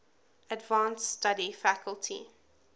advanced study faculty